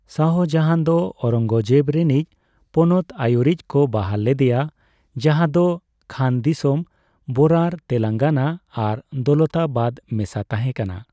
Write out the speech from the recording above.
ᱥᱟᱦᱡᱟᱦᱟᱱ ᱫᱚ ᱳᱨᱚᱸᱜᱚᱡᱮᱵ ᱨᱮᱱᱤᱡ ᱯᱚᱱᱚᱛ ᱟᱹᱭᱩᱨᱤᱡ ᱠᱚ ᱵᱟᱦᱟᱞ ᱞᱮᱫᱮᱭᱟ, ᱡᱟᱦᱟᱸᱫᱚ ᱠᱷᱟᱱᱫᱤᱥᱚᱢ, ᱵᱚᱨᱟᱨ, ᱛᱮᱞᱚᱝᱜᱟᱱᱟ ᱟᱨ ᱫᱚᱣᱞᱛᱟᱵᱟᱫ ᱢᱮᱥᱟ ᱛᱟᱦᱮᱸ ᱠᱟᱱᱟ᱾